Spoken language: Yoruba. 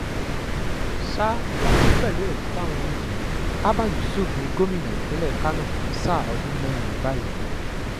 sá wọn ni pẹ̀lú ẹ̀rí táwọn rí yìí abba yusuf ní gómìnà ìpínlẹ̀ kánò fún sáà ọdún mẹ́rin báyìí